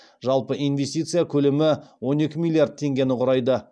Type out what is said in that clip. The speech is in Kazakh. жалпы инвестиция көлемі он екі миллиард теңгені құрайды